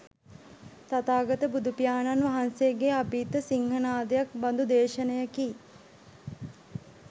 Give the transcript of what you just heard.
තථාගත බුදුපියාණන් වහන්සේගේ අභීත සිංහනාදයක් බඳු දේශනයකි